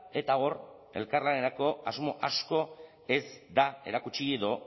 eta hor elkarlanerako asmo asko ez da erakutsi edo